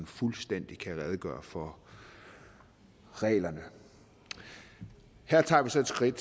fuldstændig kan redegøre for reglerne her tager vi så et skridt